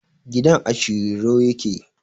Gidan a Shiriro ya ke